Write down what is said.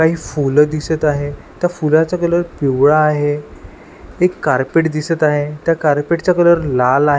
काही फुलं दिसत आहे त्या फुलाचा कलर पिवळा आहे एक कार्पेट दिसत आहे त्या कार्पेट चा कलर लाल आ --